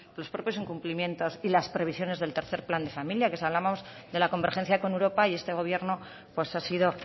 los propios incumplimientos y las previsiones del tercero plan de familia que si hablamos de la convergencia con europa y este gobierno pues ha sido